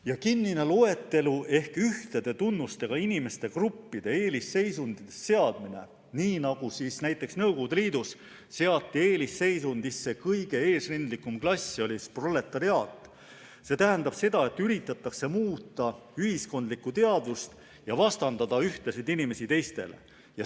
Ja kinnine loetelu ehk ühtede tunnustega inimeste gruppide eelisseisundisse seadmine, näiteks Nõukogude Liidus seati eelisseisundisse kõige eesrindlikum klass, proletariaat, tähendab seda, et üritatakse muuta ühiskondlikku teadvust ja vastandada ühtesid inimesi teistele.